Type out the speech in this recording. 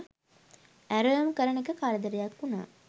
ඇරයුම් කරන එක කරදරයක් වුනා.